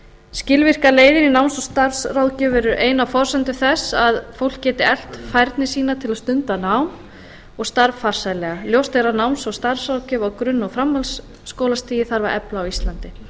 skilvirkar leiðir í náms og starfsráðgjöf eru ein af forsendum þess að fólk geti eflt færni sína til að stunda nám og starf farsællega ljóst er að náms og starfsráðgjöf á grunn og framhaldsskólastigi þarf að efla á íslandi